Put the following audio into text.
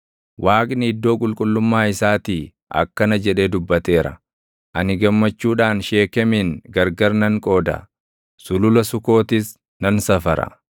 Waaqni iddoo qulqullummaa isaatii akkana jedhee dubbateera; “Ani gammachuudhaan Sheekemin gargar nan qooda; Sulula Sukootis nan safara.